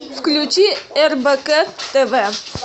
включи рбк тв